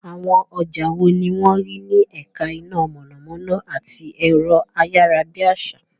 Àwọn ọjà wo ni wọ́n rí ní ẹ̀ka iná mọ̀nàmọ́ná àti ẹ̀rọ-ayárabíàsá?